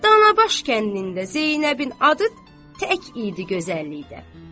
Danabaş kəndində Zeynəbin adı tək idi gözəllikdə.